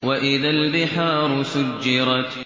وَإِذَا الْبِحَارُ سُجِّرَتْ